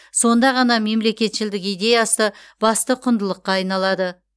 сонда ғана мемлекетшілдік идеясы басты құндылыққа айналады